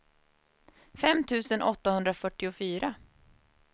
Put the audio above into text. fem tusen åttahundrafyrtiofyra